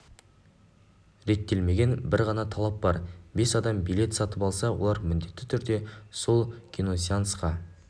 реттелмеген бір ғана талап бар бес адам билет сатып алса олар міндетті түрде сол киносеансқа